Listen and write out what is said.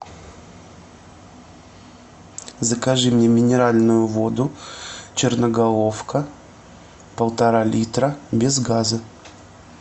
закажи мне минеральную воду черноголовка полтора литра без газа